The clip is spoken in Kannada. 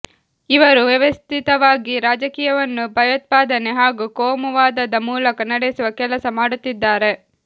ಇವರು ವ್ಯವಸ್ಥಿತವಾಗಿ ರಾಜಕೀಯವನ್ನು ಭಯೋತ್ಪಾದನೆ ಹಾಗೂ ಕೋಮು ವಾದದ ಮೂಲಕ ನಡೆಸುವ ಕೆಲಸ ಮಾಡುತ್ತಿದ್ದಾರೆ